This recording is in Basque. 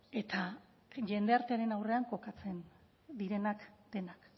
eta jendartearen aurrean kokatzen direnak denak